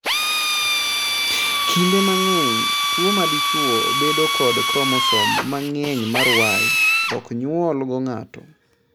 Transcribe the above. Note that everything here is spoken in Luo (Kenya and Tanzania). Kinde mang'eny, tuo ma dichwo bedo kod kromosom mang'eny mar Y ok nyuol go ng'ato